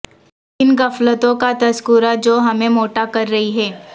ان غفلتوں کا تذکرہ جو ہمیں موٹا کر رہی ہیں